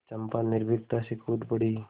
चंपा निर्भीकता से कूद पड़ी